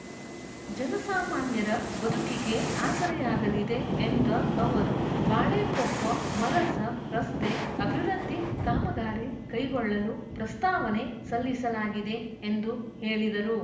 ಜನಸಾಮಾನ್ಯರ ಬದುಕಿಗೆ ಆಸರೆಯಾಗಲಿದೆ ಎಂದ ಅವರು ಬಾಳೆಕೊಪ್ಪಮರಸ ರಸ್ತೆ ಅಭಿವೃದ್ಧಿ ಕಾಮಗಾರಿ ಕೈಗೊಳ್ಳಲೂ ಪ್ರಸ್ತಾವನೆ ಸಲ್ಲಿಸಲಾಗಿದೆ ಎಂದು ಹೇಳಿದರು